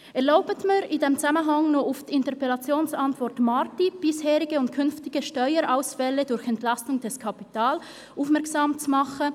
Erlauben Sie mir in diesem Zusammenhang auch auf die Antwort zur Interpellation Marti «Bisherige und künftige Steuerausfälle durch Entlastung des Kapitals» aufmerksam zu machen.